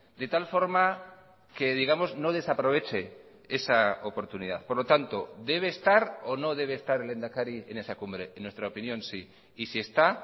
de tal forma que digamos no desaproveche esa oportunidad por lo tanto debe estar o no debe estar el lehendakari en esa cumbre en nuestra opinión sí y si está